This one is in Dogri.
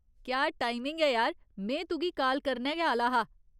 क्या टाइमिंग ऐ यार, में तुगी काल करने गै आह्‌ला हा।